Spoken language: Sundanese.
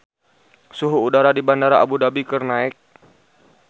Suhu udara di Bandara Abu Dhabi keur naek